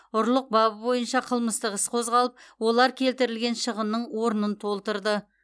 ұрлық бабы бойынша қылмыстық іс қозғалып олар келтірілген шығынның орнын толтырды